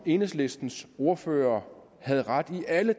enhedslistens ordfører havde ret i alle